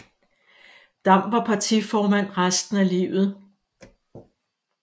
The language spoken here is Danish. Dam var partiformand resten af livet